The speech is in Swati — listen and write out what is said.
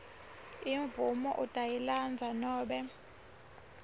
imvumo utayilandza nobe